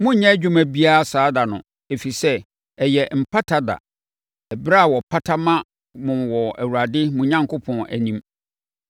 Monnyɛ adwuma biara saa ɛda no, ɛfiri sɛ, ɛyɛ Mpata Ɛda, ɛberɛ a wɔpata ma mo wɔ Awurade mo Onyankopɔn anim.